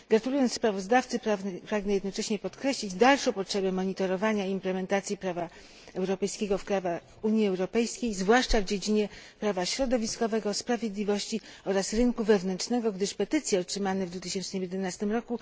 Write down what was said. Gratulując sprawozdawcy, pragnę jednocześnie podkreślić dalszą potrzebę monitorowania implementacji prawa europejskiego w Unii Europejskiej, zwłaszcza w dziedzinie prawa środowiskowego, sprawiedliwości oraz rynku wewnętrznego, gdyż petycje otrzymane w 2011 r.